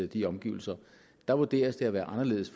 de omgivelser der vurderes det at være anderledes